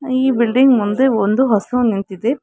ಈ ಬಿಲ್ಡಿಂಗ್ ಮುಂದೆ ಒಂದು ಹಸು ನಿಂತಿದೆ.